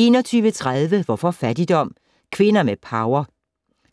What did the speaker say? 21:30: Hvorfor fattigdom? - Kvinder med power